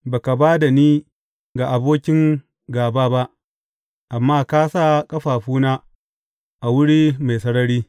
Ba ka ba da ni ga abokin gāba ba amma ka sa ƙafafuna a wuri mai sarari.